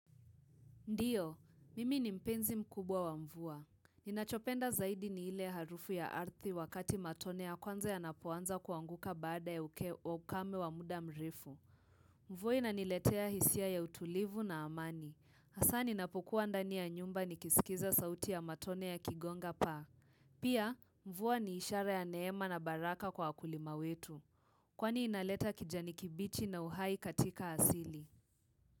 Ndio, mimi ni mpenzi mkubwa wa mvua. Ninachopenda zaidi ni ile harufu ya ardhi wakati matone ya kwanza yanapoanza kuanguka baada ya uke, ukame wa muda mrefu. Mvua inaniletea hisia ya utulivu na amani. Hasa ninapokua ndani ya nyumba nikiskiza sauti ya matone yakigonga paa. Pia, mvua ni ishara ya neema na baraka kwa wakulima wetu. Kwani inaleta kijani kibichi na uhai katika asili.